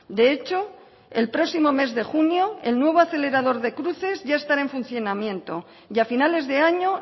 de hecho el próximo mes de junio el nuevo acelerador de cruces ya estará en funcionamiento y a finales de año